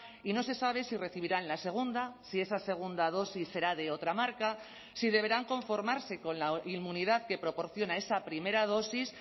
y no se sabe si recibirán la segunda si esa segunda dosis será de otra marca si deberán conformarse con la inmunidad que proporciona esa primera dosis